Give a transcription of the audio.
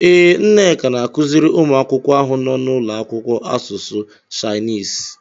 Ee, Nneka na-akụziri ụmụ akwụkwọ ahụ nọ n'ụlọakwụkwọ asụsụ Shainis.